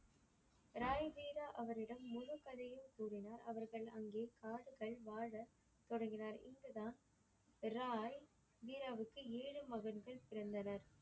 ராய் வீரா அவரிடம் முழு கதையும் கூறினார். அவர்கள் அங்கே காடுகள் வாழ தொடங்கினர் இங்கு தான் ராய் வீராவுக்கு ஏழு மகன்கள் பிறந்தன.